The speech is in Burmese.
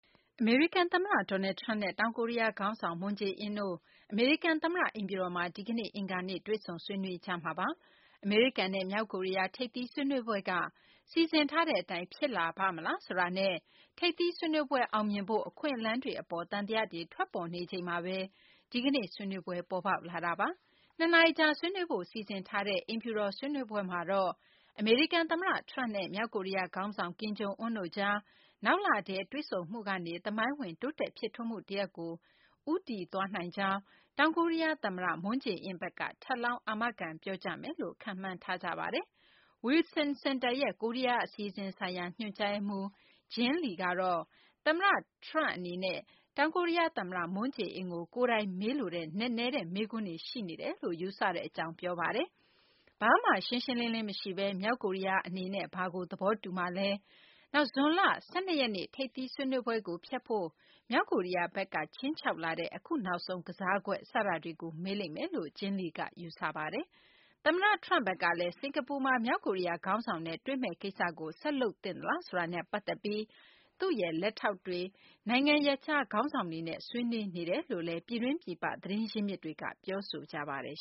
အမေရိကန် သမ္မတ Donald Trump နဲ့ တောင်ကိုရီးယား ခေါင်းဆောင် Moon Jae-in တို့ အမေရိကန် သမ္မတ အိမ်ဖြူတော်မှာ ဒီကနေ့ အင်္ဂါနေ့မှာ တွေ့ဆုံဆွေးနွေးကြဖို့ ရှိနေပါတယ်။ အမေရိကန်နဲ့ မြောက်ကိုရီးယား ထိပ်သီး ဆွေးနွေးပွဲက စီစဉ်ထားတဲ့ အတိုင်း ဖြစ်လာပါ့မလားဆိုတာနဲ့ ထိပ်သီးဆွေးနွေးပွဲ အောင်မြင်ဖို့ အခွင့်အလမ်းတွေ အပေါ် သံသယတွေ ထွက်ပေါ်နေချိန်မှာဘဲ ဒီကနေ့ ဆွေးနွေးပွဲ ဖြစ်လာတာပါ။ ၂ နာရီကြာ ဆွေးနွေးဖို့ စီစဉ်ထားတဲ့ ဒီကနေ့ အိမ်ဖြူတော် ဆွေးနွေးပွဲမှာတော့ အမေရိကန် သမ္မတ Trump နဲ့ မြောက်ကိုရီးယား ခေါင်းဆောင် ကင်ဂျုံအွန်းတို့ကြား နောက်လမှာ တွေ့ဆုံမှုကနေ သမိုင်းဝင် တိုးတက် ဖြစ်ထွန်းမှု တရပ်ကို ဦးတည် သွားနိုင်ကြောင်း တောင်ကိုရီးယား သမ္မတ မွန်းဂျေအင်း ဘက်က ထပ်လောင်း အာမခံ ပြောကြားမယ်လို့ ခန့်မှန်းထားကြပါတယ်။ Wilson Center ရဲ့ ကိုရီးယား အစီအစဉ်ဆိုင်ရာ ညွှန်ကြားရေးမှူး Jean Lee ကတော့ သမ္မတ Trump အနေနဲ့ တောင်ကိုရီးယား သမ္မတ မွန်းဂျေအင်းကို ကိုယ်တိုင်မေးလိုတဲ့ နက်နဲတဲ့ မေးခွန်းတွေ ရှိနေတယ်လို့ ယူဆကြောင်း ပြောပါတယ်။ ဘာမှ ရှင်းရှင်းလင်းလင်း မရှိဘဲ မြောက်ကိုရီးယားဘက်က ဘာကို သဘောတူမှာလဲ၊ နောက် ဇွန်လ ၁၂ ရက်နေ့ ထိပ်သီးဆွေးနွေးပွဲကို ဖျက်ဖို့ မြောက်ကိုရီးယားဘက်က ခြိမ်းခြောက်လာတဲ့ အခု နောက်ဆုံး ကစားကွက် စတာတွေကို မေးလိမ့်မယ်လို့ Jean Lee က ယူဆတာပါ။ သမ္မတ Trump ဘက်ကလည်း စကာၤပူမှာ မြောက်ကိုရီးယား ခေါင်းဆောင်နဲ့ တွေ့မယ့်ကိစ္စကို ဆက်လုပ်သင့်သလားဆိုတာနဲ့ ပတ်သက်ပြီး သူ့ရဲ့ လက်ထောက်တွေ၊ နိုင်ငံခြား ခေါင်းဆောင်တွေနဲ့ ဆွေးနွေးနေတယ်လို့လည်း ပြည်တွင်း ပြည်ပ သတင်းရင်းမြစ်တွေက ပြောဆိုကြပါတယ်